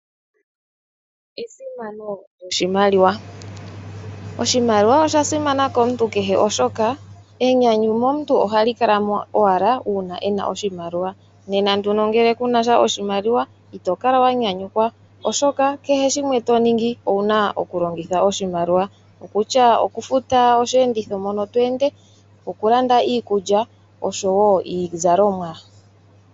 Esimano lyoshimaliwa Oshimaliwa osha simana komuntu kehe oshoka enyanyu momuntu ohali kala mo owala uuna ena oshimaliwa, nena nduno ngele kunasha oshimaliwa, ito kala wa nyanyukwa, oshoka kehe shimwe to ningi owuna oku longitha oshimaliwa okutya, oku futa osheenditho mono to ende, oku landa iikulya oshowo iizalomwa.